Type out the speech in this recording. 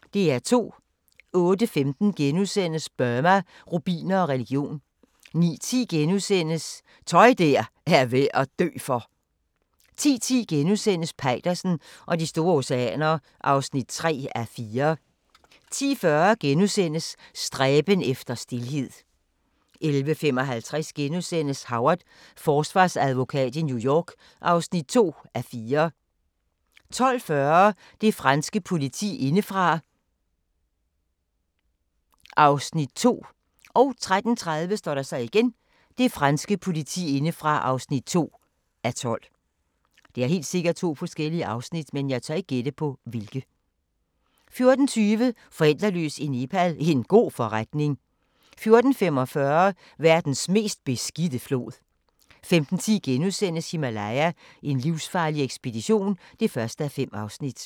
08:15: Burma, rubiner og religion * 09:10: Tøj der er værd at dø for! * 10:10: Peitersen og de store oceaner (3:4)* 10:40: Stræben efter stilhed * 11:55: Howard – forsvarsadvokat i New York (2:4)* 12:40: Det franske politi indefra (2:12) 13:30: Det franske politi indefra (2:12) 14:20: Forældreløs i Nepal – en god forretning 14:45: Verdens mest beskidte flod 15:10: Himalaya: en livsfarlig ekspedition (1:5)*